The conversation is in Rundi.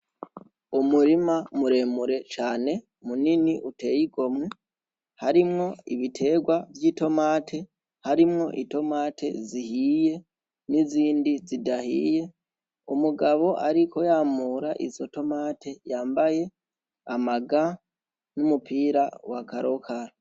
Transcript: Umurima muremure cane munini uteye igomwe ,harimwo umurima w'itomate ,Itomate zihiye n'izindi zidahiye. Umugabo ariko yamura izo tomate yambaye ama nga n'umupira wa karokaro.